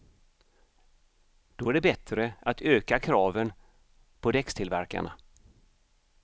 Då är det bättre att öka kraven på däckstillverkarna.